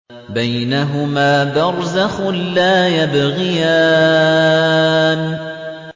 بَيْنَهُمَا بَرْزَخٌ لَّا يَبْغِيَانِ